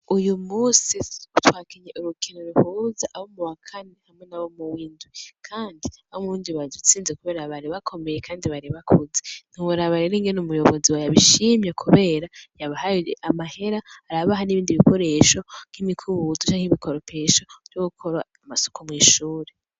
Uyumunsi twakinye urukino ruduhuza abo muwa kane nabo muw'indwi, kandi abo muw'indwi badutsinze kubera bari bakomeye kandi bari bakuze, ntiworaba rero ingene umuyobozi yabishimye kubera yabahaye amahera arabaha n'ibindi bikoresho:nk'imikubizo canke ibikoropesho vyogukora amasuku mw'ishuri.